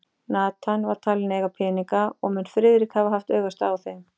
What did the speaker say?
Nathan var talinn eiga peninga, og mun Friðrik hafa haft augastað á þeim.